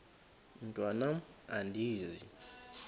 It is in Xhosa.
mntwan am andizi